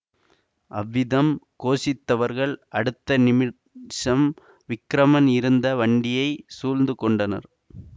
அவ்விதம் கோஷித்தவர்கள் அடுத்த நிமிஷம் விக்கிரமன் இருந்த வண்டியைச் சூழ்ந்து கொண்டனர்